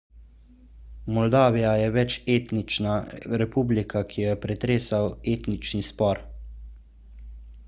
moldavija je večetnična republika ki jo je pretresal etnični spor